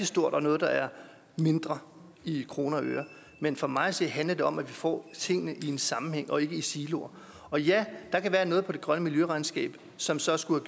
stort og noget der er mindre i kroner og øre men for mig at se handler det om at vi får tingene i en sammenhæng og ikke i siloer og ja der kan være noget på det grønne miljøregnskab som så skulle